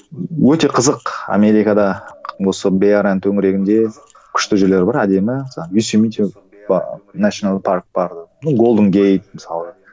өте қызық америкада осы беарияның төңірегінде күшті жерлер бар әдемі ночной парк бар голденгейт мысалы